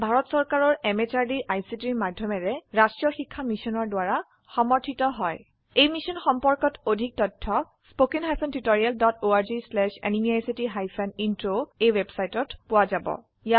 ই ভাৰত চৰকাৰৰ MHRDৰ ICTৰ মাধয়মেৰে ৰাস্ত্ৰীয় শিক্ষা মিছনৰ দ্ৱাৰা সমৰ্থিত হয় এই মিশ্যন সম্পৰ্কত অধিক তথ্য spoken hyphen tutorial dot org slash এনএমইআইচিত হাইফেন ইন্ট্ৰ ৱেবচাইটত পোৱা যাব